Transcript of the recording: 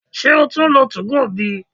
se o tun nlo 2go bi?